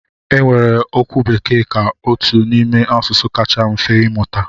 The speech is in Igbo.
E weere okwu Bekee ka otu n'ime asụsụ kacha mfe ịmụta.